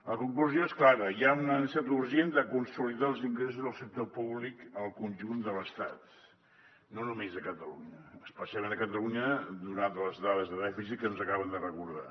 la conclusió és clara hi ha una necessitat urgent de consolidar els ingressos del sector públic al conjunt de l’estat no només a catalunya especialment a catalunya donat les dades de dèficit que ens acaben de recordar